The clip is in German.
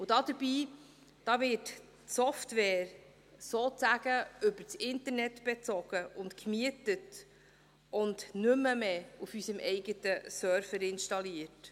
Dabei wird die Software sozusagen über das Internet bezogen und gemietet und nicht mehr auf unserem eigenen Server installiert.